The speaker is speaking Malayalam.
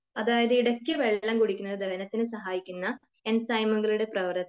അതായത് ഇടക്ക് വെള്ളം കുടിക്കുന്നത് ദഹനത്തിന് സഹായിക്കുന്ന ഇൻസ്യ്മുകളുടെ